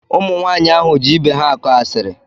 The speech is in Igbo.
Ụmụ nwaanyị ahụ ji ibe ha akọ asiri.